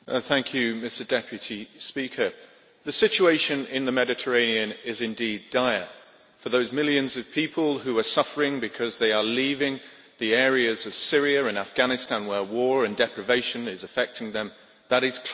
Mr President, the situation in the Mediterranean is indeed dire. For those millions of people who are suffering because they are leaving the areas of Syria and Afghanistan where war and deprivation is affecting them, that is clear.